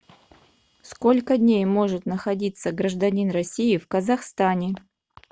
сколько дней может находиться гражданин россии в казахстане